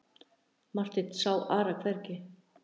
Marteinn sá Ara hvergi.